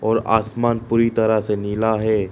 और आसमान पूरी तरह से नीला है।